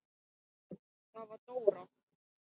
Það var Dóra.